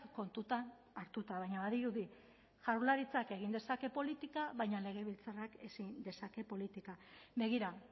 kontutan hartuta baina badirudi jaurlaritzak egin dezake politika baina legebiltzarrak ezin dezake politika begira